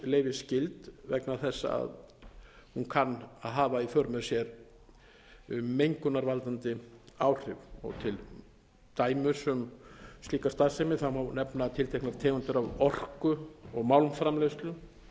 er starfsleyfisskyld vegna þess að hún kann að hafa í för með sér mengunarvaldandi áhrif til dæmis um slíka starfsemi má nefna tilteknar tegundir af orku og málmframleiðslu